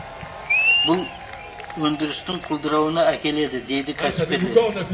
бұл өндірістің құлдырауына әкеледі дейді кәсіпкерлер